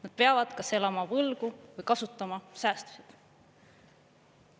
Nad peavad kas elama võlgu või kasutama säästusid.